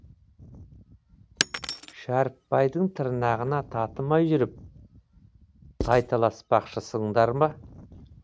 шәріпбайдың тырнағына татымай жүріп тайталаспақшысыңдар ма